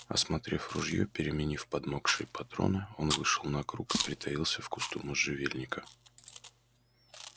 осмотрев ружьё переменив подмокшие патроны он вышел на круг и притаился в кусту можжевельника